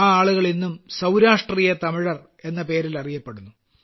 ആ ആളുകൾ ഇന്നും സൌരാഷ്ട്രീയ തമിഴർ എന്ന പേരിൽ അറിയപ്പെടുന്നു